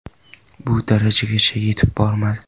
Bu darajagacha yetib bormadi.